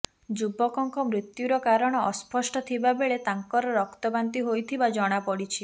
ଯୁବକଙ୍କ ମୃତ୍ୟୁର କାରଣ ଅସ୍ପଷ୍ଟ ଥିବାବେଳେ ତାଙ୍କର ରକ୍ତ ବାନ୍ତି ହୋଇଥିବା ଜଣାପଡିଛି